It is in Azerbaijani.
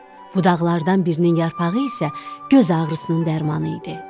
Budaqlardan birinin yarpağı isə göz ağrısının dərmanı idi.